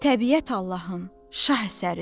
Təbiət Allahın şah əsəridir.